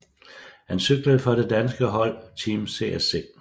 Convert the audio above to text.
Han cyklede for det danske hold Team CSC